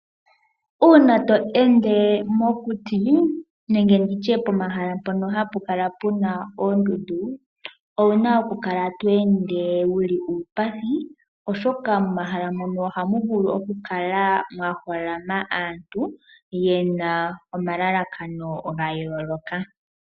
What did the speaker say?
Uuna to ende mokuti nenge nditye pomahala mpono hapu kala puna oondundu. Owuna okukala to ende wa kotoka oshoka momahala mono oha mu vulu okukala mwa holama aantu yena omalalakano ga yooloka.